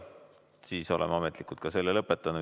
Siis oleme ametlikult selle punkti lõpetanud.